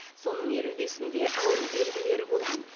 соның елу бесінде ауру белгілері болған